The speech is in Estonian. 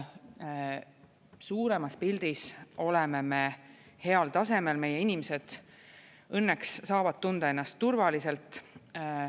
Suuremas pildis oleme me heal tasemel, meie inimesed õnneks saavad tunda ennast turvaliselt.